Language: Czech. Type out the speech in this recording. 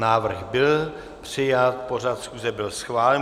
Návrh byl přijat, pořad schůze byl schválen.